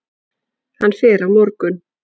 Hann fer á morgun.